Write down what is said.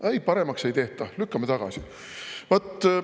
Aga ei, paremaks ei tehta, lükatakse tagasi.